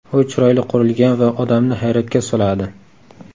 U chiroyli qurilgan va odamni hayratga soladi.